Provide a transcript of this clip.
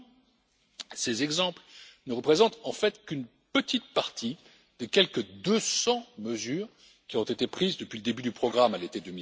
Tous ces exemples ne représentent en fait qu'une petite partie des quelque 200 mesures qui ont été prises depuis le début du programme à l'été